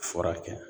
Furakɛ